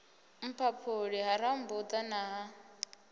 mphaphuli ha rambuḓa na ha